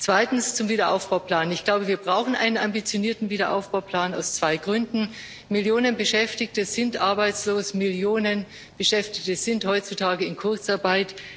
Zweitens, zum Aufbauplan Ich glaube, wir brauchen einen ambitionierten Aufbauplan aus zwei Gründen Millionen Beschäftigte sind arbeitslos, Millionen Beschäftigte sind heutzutage in Kurzarbeit.